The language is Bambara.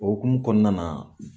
O hokumu kɔnɔna na